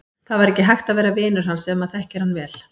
Það var ekki hægt að vera vinur hans ef maður þekkir hann vel.